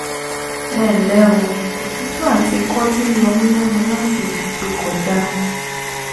ẹnlẹ́ o òtútù àti ikọ́ ti ń yọ mí lẹ́nu láti oṣù tó kọjá